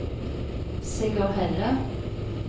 Sigurd Helle